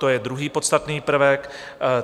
To je druhý podstatný prvek.